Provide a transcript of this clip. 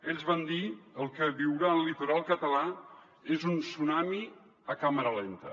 ells van dir el que viurà el litoral català és un tsunami a càmera lenta